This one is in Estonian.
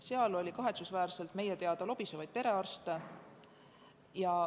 Meile on teada, et kahetsusväärselt oli seal lobisevaid perearste.